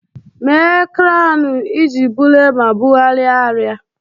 Mee kranu iji bulie ma bugharịa arịa.